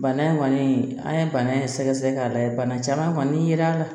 Bana in kɔni an ye bana in sɛgɛsɛgɛ k'a lajɛ bana caman kɔni ye ra a la